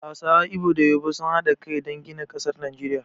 Hausawa, Igbo da Yoruba sun haɗa kai dan gina ƙasar Najeriya